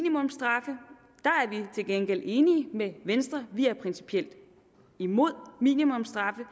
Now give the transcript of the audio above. til gengæld enige med venstre vi er principielt imod minimumsstraffe